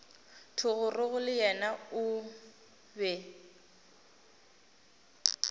thogorogo le yena o be